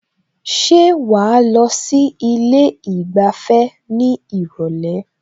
Ṣé wàá lọ sí ilé ìgbafẹ́ ní ìrọ̀lẹ́?